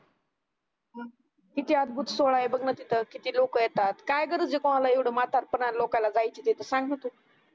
किती अद्भुत सोहळा ए बघना तिथं किती लोक येतात काय गरज ए कोणाला येवढ म्हातारपना ला जायची तिथं सांगणं तू